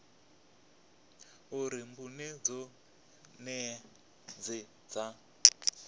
uri mbuno dzoṱhe dze dza